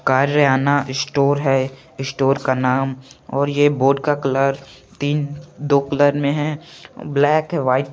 कार्यना store है store का नाम और ये बोर्ड का कलर तीन दो कलर मे है ब्लैक हैं व्हाइट --